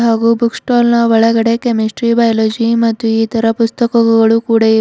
ಹಾಗೂ book stall ನ ಒಳಗಡೆ ಕೆಮೆಸ್ಟ್ರಿ ಬಯಾಲಜಿ ಮತ್ತು ಇತರ ಪುಸ್ತಕಗಳು ಕೂಡ ಇವೆ.